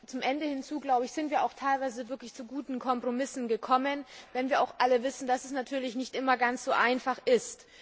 Zum Ende hin sind wir teilweise zu wirklich guten Kompromissen gekommen, wenn wir auch alle wissen, dass es natürlich nicht immer ganz so einfach ist.